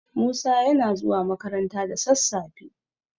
Musa yana zuwa makaranta da sassafe.